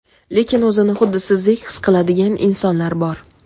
lekin o‘zini xuddi sizdek his qiladigan insonlar bor.